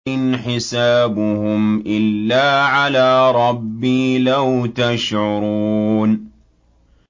إِنْ حِسَابُهُمْ إِلَّا عَلَىٰ رَبِّي ۖ لَوْ تَشْعُرُونَ